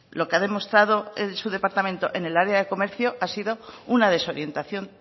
lo que ha demostrado su departamento en el área de comercio ha sido una desorientación